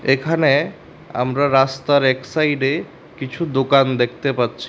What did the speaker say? এখানে আমরা রাস্তার এক সাইডে কিছু দোকান দেখতে পাচ্ছি।